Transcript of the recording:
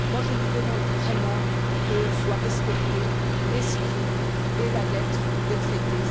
Moi, je vous demande vraiment que soient respectés l'esprit et la lettre des traités.